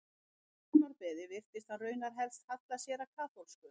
Á dánarbeði virtist hann raunar helst halla sér að kaþólsku.